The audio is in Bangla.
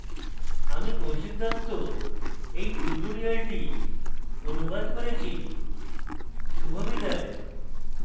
আমি কৌশিক দত্ত এই tutorial অনুবাদ করেছি শুভবিদায়